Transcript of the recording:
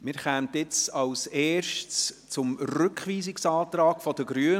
Wir kommen als Erstes zum Rückweisungsantrag der Grünen.